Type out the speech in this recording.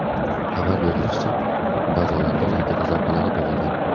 Xabar berilishicha, bazalarga raketa zarbalari berilgan.